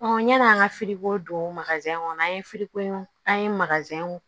yann'an ka don kɔnɔ an ye an ye